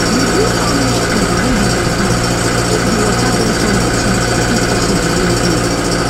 reduce how much food wey you dey give if the water don turn dirty or if oxygen don low